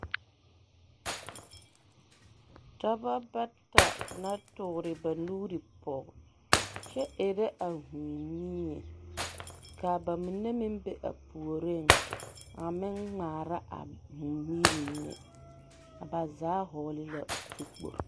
Dɔbɔ bata la toore ba nuuri pɔge kyɛ erɛ a hūū mie ka bamine meŋ be a puoriŋ a meŋ ŋmaara a hūū miiri mine ba zaa hɔɔle la zu kpogilo.